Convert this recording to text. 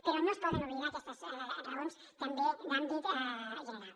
però no es poden oblidar aquestes raons també d’àmbit general